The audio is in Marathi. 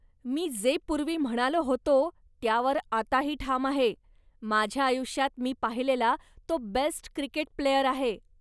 मी जे पूर्वी म्हणालो होतो त्यावर आताही ठाम आहे, माझ्या आयुष्यात मी पाहिलेला तो बेस्ट क्रिकेट प्लेयर आहे.